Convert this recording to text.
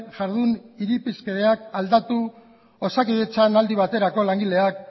jardun irizpideak aldatu osakidetzan aldi baterako langileak